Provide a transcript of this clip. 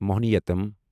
Mohiniyattam